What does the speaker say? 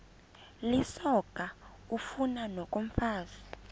lisoka ufani nokomfazi